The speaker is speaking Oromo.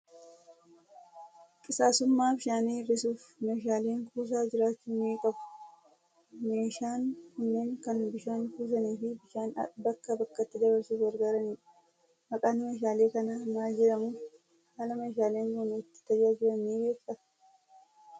Qisaasa'ummaa bishaanii hir; isuuf meeshaaleen kuusaa jiraachuu ni qabu. Meeshaan kunneen kan bishaan kuusanii fi bishaan bakka bakkatti dabarsuuf gargaaranidha. Maqaan meeshaalee kanaa maal jedhamu? Haala meeshaaleen kun itti tajaajilan ni beektaa?